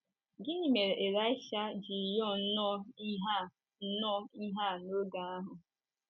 Gịnị mere Ịlaịsha ji rịọ nnọọ ihe a nnọọ ihe a n’oge ahụ?